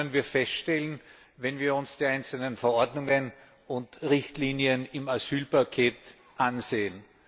Das können wir feststellen, wenn wir uns die einzelnen Verordnungen und Richtlinien im Asylpaket ansehen.